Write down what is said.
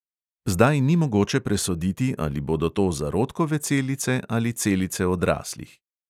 Zdaj ni mogoče presoditi, ali bodo to zarodkove celice ali celice odraslih.